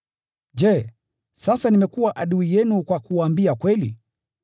Je, sasa nimekuwa adui yenu kwa kuwaambia kweli?